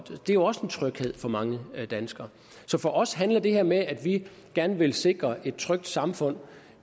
det er jo også en tryghed for mange danskere så for os handler det her med at vi gerne vil sikre et trygt samfund